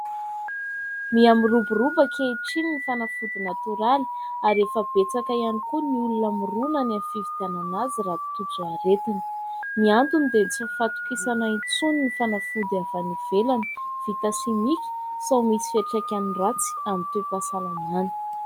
Mihamiroboroba ankehitriny ny fanafody natoraly ary efa betsaka ihany koa ny olona miroana any amin'ny fividianana azy raha tojo aretina. Ny antony dia tsy fahatokisana intsony ny fanafody avy any ivelany vita simika sao misy fiantraikany ratsy amin'ny toe-pasalamana.